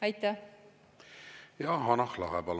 Hanah Lahe, palun!